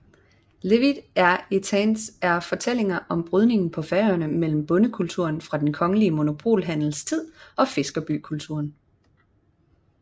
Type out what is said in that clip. Lívið er eittans er fortællinger om brydningen på Færøerne mellem bondekulturen fra den kongelige monopolhandels tid og fiskerbykulturen